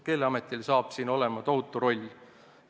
Keeleametil saab selles olema tohutu roll.